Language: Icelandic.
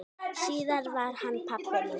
Síðar varð hann pabbi minn.